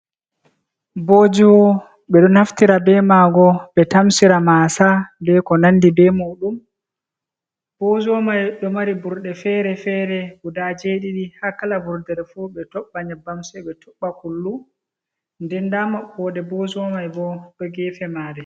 Bozuwa: Ɓe do naftira be maago ɓe tamsira mase be ko nandi be majum. Bozuwa mai ɗo mari burɗe fere-fere guda jeɗiɗi. Ha kala vurdere fu ɓe toɓɓa nyebbam sai ɓe toɓɓa kullu. Nden nda maɓɓode bozuwa mai bo ha gefe mare.